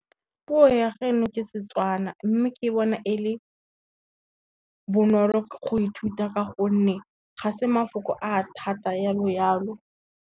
Puo ya geno ke Setswana mme ke bona e le, bonolo go ithuta ka gonne ga se mafoko a thata jalo jalo.